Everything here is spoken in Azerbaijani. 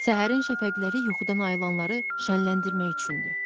Səhərin şəfəqləri yuxudan ayılanları şənləndirmək üçündür.